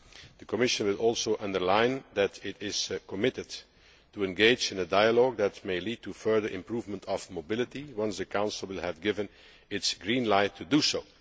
The Commission will also underline that it is committed to engage in a dialogue that may lead to further improvement of mobility once the Council has given its green light to do so.